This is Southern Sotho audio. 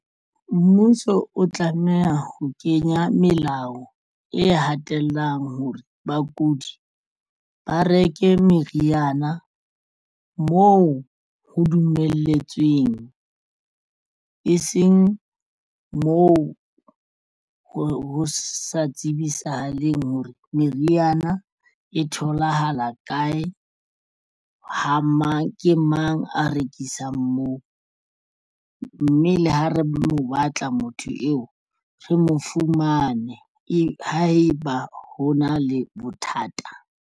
Mmuso o tlameha ho kenya melao e hatellang hore bakudi ba reke meriana moo ho dumelletsweng e seng moo ho sa tsibisahaleng hore meriana e tholahala kae ha mang ke mang a rekisang moo, mme le ha re mo batla motho eo re mo fumane. Haeba ho na le bothata.